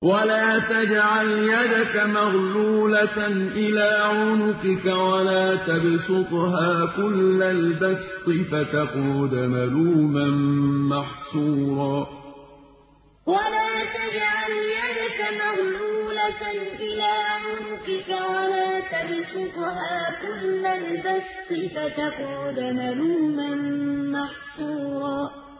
وَلَا تَجْعَلْ يَدَكَ مَغْلُولَةً إِلَىٰ عُنُقِكَ وَلَا تَبْسُطْهَا كُلَّ الْبَسْطِ فَتَقْعُدَ مَلُومًا مَّحْسُورًا وَلَا تَجْعَلْ يَدَكَ مَغْلُولَةً إِلَىٰ عُنُقِكَ وَلَا تَبْسُطْهَا كُلَّ الْبَسْطِ فَتَقْعُدَ مَلُومًا مَّحْسُورًا